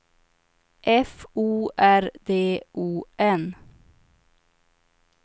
F O R D O N